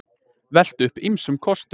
Veltu upp ýmsum kostum